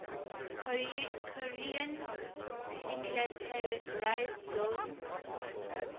korean demilitarized zone